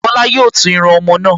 Bọ́lá yóò tún irun ọmọ náà